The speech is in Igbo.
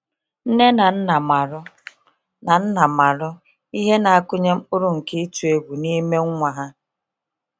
Nne na Nna marụ na Nna marụ ihe na akụnye mkpụrụ nke ịtụ egwu n'ime nwa ha.